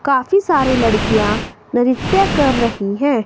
काफी सारे लड़कियां नृत्य कर रही हैं।